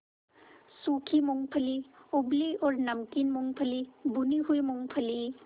सूखी मूँगफली उबली और नमकीन मूँगफली भुनी हुई मूँगफली